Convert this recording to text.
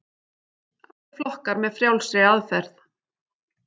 Allir flokkar með frjálsri aðferð